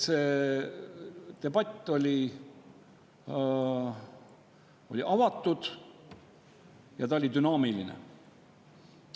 See debatt oli avatud ja see oli dünaamiline.